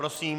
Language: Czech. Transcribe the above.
Prosím.